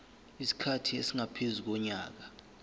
isikhathi esingaphezu konyaka